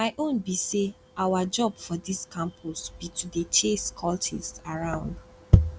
my own be say our job for dis campus be to dey chase cultists around